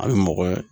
A bɛ mɔgɔ